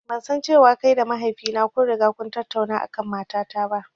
Ban san cewa kai da mahaifi na kun riga kun tattauna a kan mata ta ba.